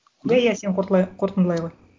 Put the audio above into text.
иә иә сен қорытындылай ғой